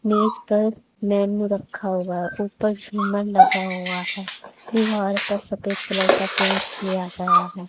मेज पर मेनू रखा हुआ ऊपर झूमर लगा हुआ है दीवार पर सफेद कलर का पेंट किया गया है।